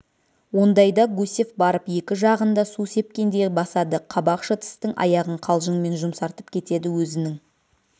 ондайда гусев барып екі жағын да су сепкендей басады қабақ шытыстың аяғын қалжыңмен жұмсартып кетеді өзінің